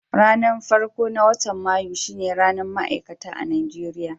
Ranan farko na watan Mayu shine ranan Ma'aikata a'Nijeriya.